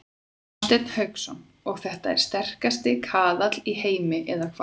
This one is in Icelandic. Hafsteinn Hauksson: Og þetta er sterkasti kaðall í heimi eða hvað?